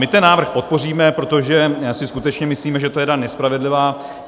My ten návrh podpoříme, protože si skutečně myslíme, že to je daň nespravedlivá.